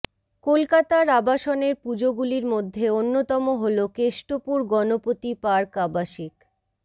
কলকাতার আবাসনের পুজোগুলির মধ্যে অন্যতম হল কেষ্টপুর গনপতি পার্ক আবাসিক